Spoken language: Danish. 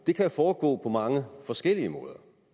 foregå på mange forskellige måder